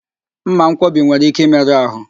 Mmankwọbi nwere ike ịmerụ ahụ